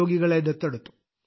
രോഗികളെ ദത്തെടുത്തു